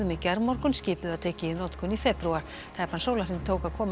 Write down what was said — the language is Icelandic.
gærmorgun skipið var tekið í notkun í febrúar tæpan sólarhring tók að koma